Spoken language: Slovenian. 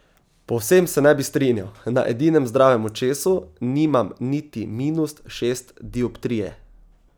Povsem se ne bi strinjal, na edinem zdravem očesu nimam niti minus šest dioptrije.